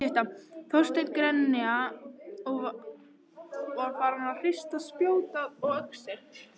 Þorsteinn grenja og var farinn að hrista spjót og öxi.